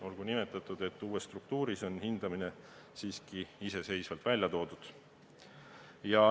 Olgu nimetatud, et uues struktuuris on hindamine lausa eraldi välja toodud.